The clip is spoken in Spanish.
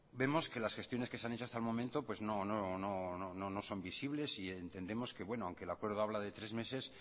vemos que las gestiones que se han hecho hasta el momento pues no son visibles y entendemos que aunque el acuerdo habla de tres meses